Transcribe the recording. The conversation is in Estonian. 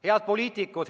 Head poliitikud!